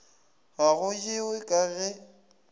ga go jewe ka ge